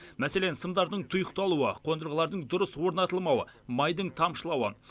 мәселен сымдардың тұйықталуы қондырғылардың дұрыс орнатылмауы майдың тамшылауы